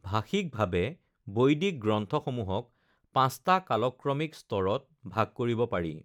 ভাষিকভাৱে বৈদিক গ্ৰন্থসমূহক পাঁচটা কালক্ৰমিক স্তৰত ভাগ কৰিব পাৰি: